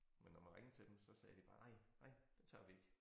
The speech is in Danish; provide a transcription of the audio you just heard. Men når man ringede til dem så sagde de bare nej nej det tør vi ikke